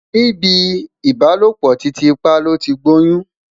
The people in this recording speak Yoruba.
ní ibì ìbálòpọ̀ titi pa loti gboyun